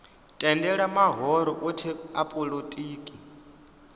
tendela mahoro othe a polotiki